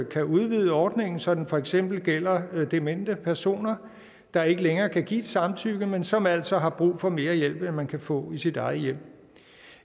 kan udvide ordningen så den for eksempel gælder demente personer der ikke længere kan give et samtykke men som altså har brug for mere hjælp end man kan få i sit eget hjem